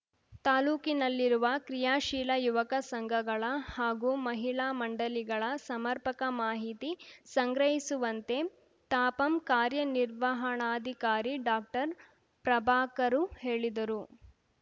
ತಾಲೂಕಿನಲ್ಲಿರುವ ಕ್ರಿಯಾಶೀಲ ಯುವಕ ಸಂಘಗಳ ಹಾಗೂ ಮಹಿಳಾ ಮಂಡಳಿಗಳ ಸಮರ್ಪಕ ಮಾಹಿತಿ ಸಂಗ್ರಹಿಸುವಂತೆ ತಾಪಂ ಕಾರ್ಯನಿರ್ವಹಣಾಧಿಕಾರಿ ಡಾಕ್ಟರ್ ಪ್ರಭಾಕರು ಹೇಳಿದರು